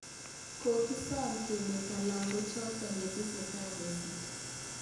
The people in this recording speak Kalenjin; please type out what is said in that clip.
Kogisom kemeto lagoochoto yetesetai kesiit